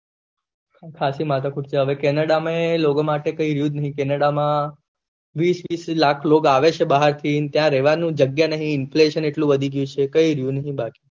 સાચી માથાકૂટ છે કેનેડા માં એ લોગો માટે કાઈ રેહવું નહી કેનેડા માં વીસ વીસ લાખ લોકો આવે છે ભાહર થી અને ત્યાં રેહવાનું જગ્યા નહી inflation એટલું વધી ગયું છે કઈ રયુ નહી બાકી